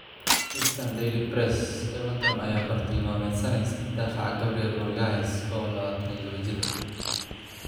(Eastern Daily Press) Everton ayaa bartilmaameedsanaysa daafaca Gabriel Magalhaes, oo 22 jir ah.